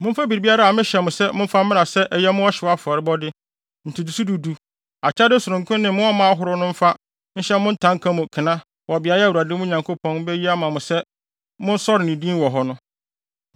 Momfa biribiara a mehyɛ mo sɛ momfa mmra sɛ ɛyɛ mo ɔhyew afɔrebɔde, ntotoso du du, akyɛde sononko ne mo ɔma ahorow no mfa nhyɛ mo ntanka no mu kena wɔ beae a Awurade, mo Nyankopɔn, beyi ama mo a sɛ monsɔre ne din wɔ hɔ no.